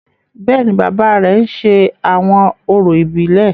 Bẹ́ẹ̀ni, baba rẹ ń ṣe awọn orȯ ibilẹ.